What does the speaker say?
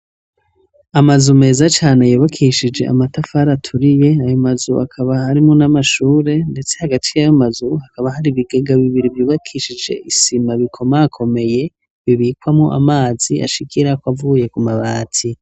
Amazu meza cane yubakishije amatafari aturiye, ayo mazu akaba arimwo n' amashure, ndetse hagati yayo mazu hakaba hari ikigega bibiri bubakishije isima bikomakomeye, bibikwamwo amazi ashikirako avuye Ku mabati.